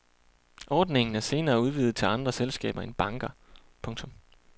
Ordningen er senere udvidet til andre selskaber end banker. punktum